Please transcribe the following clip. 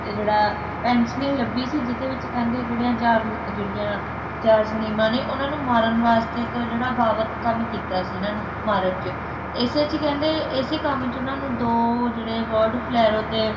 ਤੇ ਜਿਹੜਾ ਪੈਂਸੀਲੀਨ ਲਭੀ ਸੀ ਜਿਸਦੇ ਵਿੱਚ ਕਹਿੰਦੇ ਜਿਹੜੇ ਚਾਰ ਜਿਹੜੀਆਂ ਚਾਰ ਨਿਮਾਂ ਨੇ ਉਨ੍ਹਾਂ ਨੂੰ ਮਾਰਨ ਵਾਸਤੇ ਜਿਹੜਾ ਇੱਕ ਬਾਬਤ ਕੀਤਾ ਕੰਮ ਕੀਤਾ ਸੀ ਇਨ੍ਹਾਂ ਨੂੰ ਮਾਰਨ ਚ ਇਸੇ ਚ ਕਹਿੰਦੇ ਇਸੇ ਕੰਮ ਚ ਉਨ੍ਹਾਂ ਨੂੰ ਦੋ ਜਿਹੜੇ award ਫਲੈਰੋ ਤੇ